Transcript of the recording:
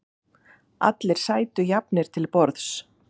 Allir sætu jafnir til borðs.